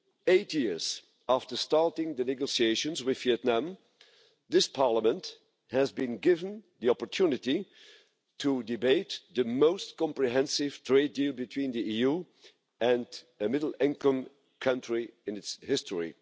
Eight years after starting the negotiations with Vietnam, this Parliament has been given the opportunity to debate the most comprehensive trade deal between the EU and a middle-income country in its history.